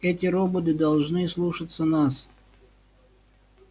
эти роботы должны слушаться нас